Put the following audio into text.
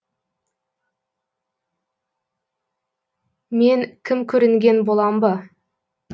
мен кім көрінген болам ба